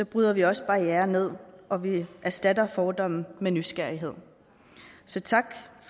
bryder vi også barrierer ned og vi erstatter fordomme med nysgerrighed så tak